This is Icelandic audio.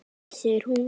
Ekki segir hún.